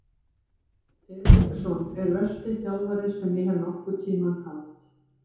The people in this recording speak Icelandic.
Eriksson er versti þjálfari sem ég hef nokkurn tímann haft.